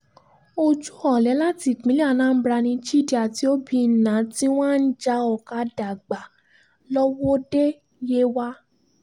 ojú ọ̀lẹ láti ìpínlẹ̀ anambra ni chidi àti obìnnà ti wá ń já ọ̀kadà gbà lọ́wọ́de yewa